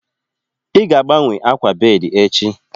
Ị ga-agbanwe akwa bedi echi